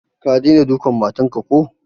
Ka dai dena dukan matan ka ko?